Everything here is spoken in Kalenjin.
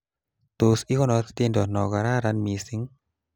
Tos ikonor tiendo no kararan mising'?